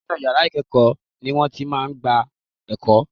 Inú yàrá ìkẹ́ẹ̀kọ́ ni wọ́n ti máa gba ẹ̀kọ́.